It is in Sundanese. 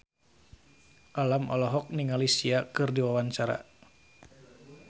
Alam olohok ningali Sia keur diwawancara